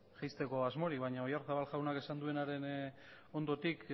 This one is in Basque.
jaisteko asmorik baina oyarzabal jaunak esan duenaren ondotik